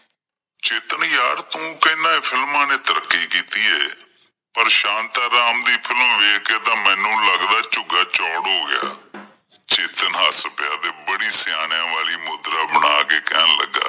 ਚੇਤਨ ਯਾਰ, ਤੂੰ ਕਹਿਣਾ ਕਿ films ਨੇ ਤਰੱਕੀ ਕੀਤੀ ਹੈ ਪਰ ਸ਼ਾਂਤਾਂ ਰਾਮ ਦੀ film ਦੇਖ ਕਿ ਤਾਂ ਲੱਗਦਾ ਝੁੱਗਾ ਚੋੜ ਹੋ ਗਿਆ ਚੇਤਨ ਹੱਸ ਪਿਆ ਤੇ ਬੜੀ ਸਿਆਣਿਆਂ ਵਾਲੀ ਮੁਦਰਾ ਬਣਾ ਕਿ ਕਹਿਣ ਲੱਗਾ।